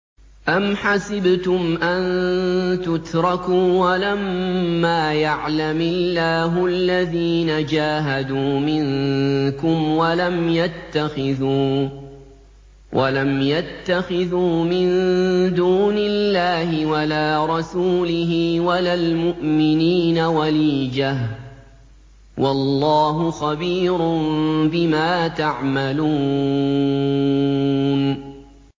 أَمْ حَسِبْتُمْ أَن تُتْرَكُوا وَلَمَّا يَعْلَمِ اللَّهُ الَّذِينَ جَاهَدُوا مِنكُمْ وَلَمْ يَتَّخِذُوا مِن دُونِ اللَّهِ وَلَا رَسُولِهِ وَلَا الْمُؤْمِنِينَ وَلِيجَةً ۚ وَاللَّهُ خَبِيرٌ بِمَا تَعْمَلُونَ